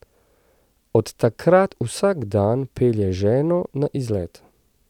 Od takrat vsak dan pelje ženo na izlet.